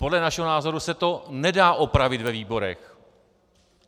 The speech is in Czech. Podle našeho názoru se to nedá opravit ve výborech.